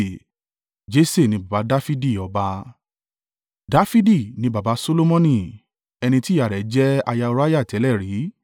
Jese ni baba Dafidi ọba. Dafidi ni baba Solomoni, ẹni tí ìyá rẹ̀ jẹ́ aya Uriah tẹ́lẹ̀ rí.